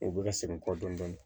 U bɛ ka segin kɔ dɔɔnin